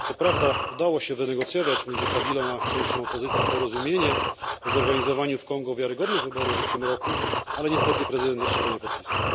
Co prawda udało się wynegocjować pomiędzy Kabilą a częścią opozycji porozumienie o zorganizowaniu w Kongo wiarygodnych wyborów w tym roku, ale niestety prezydent jeszcze go nie podpisał.